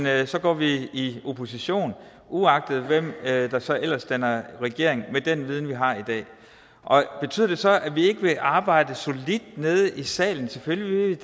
at så går vi i opposition uagtet hvem der så ellers danner regering med den viden vi har i dag betyder det så at vi ikke vil arbejde solidt nede i salen selvfølgelig vil